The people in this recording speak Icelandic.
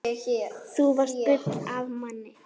Þú varst gull af manni.